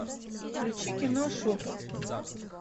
включи кино шепот